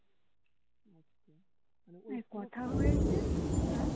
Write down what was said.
কথা হয়েছে আর